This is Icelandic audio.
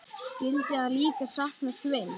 Skyldi hann líka sakna Sveins?